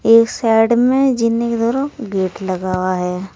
एक साइड में जीने की तरफ गेट लगा हुआ है।